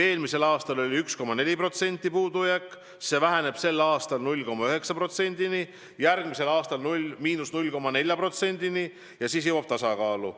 Eelmisel aastal oli puudujääk 1,4%, see väheneb sel aastal 0,9%-ni, järgmisel aastal 0,4%-ni ja siis jõuame tasakaalu.